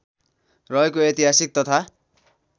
रहेको ऐतिहासिक तथा